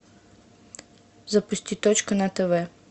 запусти точка на тв